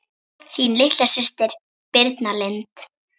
Þín litla systir Birna Lind.